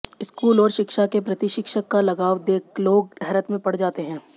school और शिक्षा के प्रति शिक्षक का लगाव देख लोग हैरत में पड़ जाते हैं